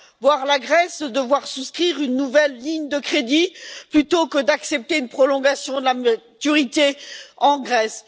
voir la Grèce devoir souscrire une nouvelle ligne de crédit, plutôt que d'accepter une prolongation de la maturité en Grèce.